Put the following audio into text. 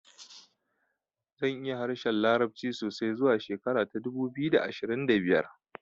Zan iya harshen larabci sosai zuwa shekara ta dubu biyu da ashirin da biyar